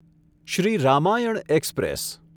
Shri Ramayan express